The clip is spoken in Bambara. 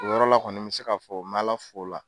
O yɔrɔ la kɔni n be se ka fɔ, be ala fo o la.